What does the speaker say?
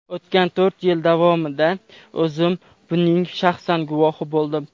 O‘tgan to‘rt yil davomida o‘zim buning shaxsan guvohi bo‘ldim.